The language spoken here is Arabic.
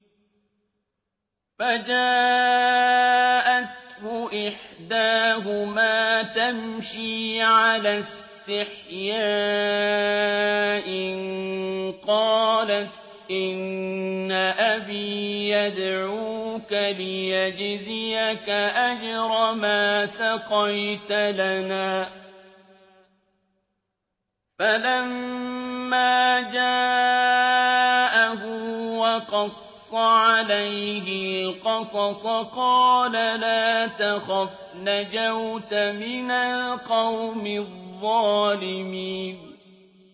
فَجَاءَتْهُ إِحْدَاهُمَا تَمْشِي عَلَى اسْتِحْيَاءٍ قَالَتْ إِنَّ أَبِي يَدْعُوكَ لِيَجْزِيَكَ أَجْرَ مَا سَقَيْتَ لَنَا ۚ فَلَمَّا جَاءَهُ وَقَصَّ عَلَيْهِ الْقَصَصَ قَالَ لَا تَخَفْ ۖ نَجَوْتَ مِنَ الْقَوْمِ الظَّالِمِينَ